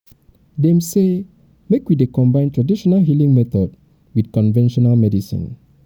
dem sey make we dey combine tradional healing method wit conventional medicine.